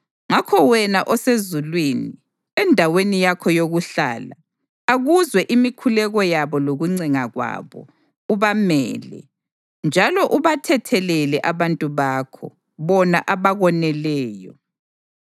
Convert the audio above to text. ngakho wena osezulwini, endaweni yakho yokuhlala, akuzwe imikhuleko yabo lokuncenga kwabo, ubamele. Njalo ubathethelele abantu bakho, bona abakoneleyo.